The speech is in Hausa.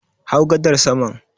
Hau gadar saman